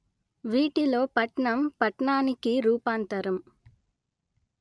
వీటిలో పట్నం పట్టణానికి రూపాంతరం